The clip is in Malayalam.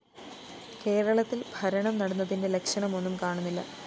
കേരളത്തില്‍ ഭരണം നടന്നതിന്റെ ലക്ഷണമൊന്നും കാണുന്നില്ല